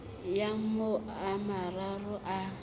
ya ho a mararo a